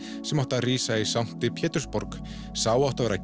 sem átti að rísa í sankti Pétursborg sá átti að vera